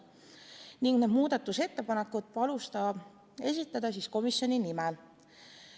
Need muudatusettepanekud palus ta esitada komisjoni nimel.